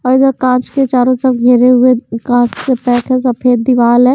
पहिले कांच के चारों तरफ घेरे हुए कांच से पैक है। सफेद दीवार है।